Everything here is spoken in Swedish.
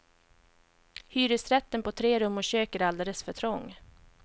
Hyresrätten på tre rum och kök är alldeles för trång.